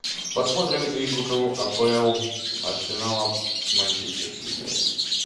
посмотрим игру апл арсенала с манчестер сити